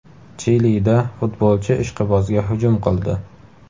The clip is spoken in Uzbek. Chilida futbolchi ishqibozga hujum qildi.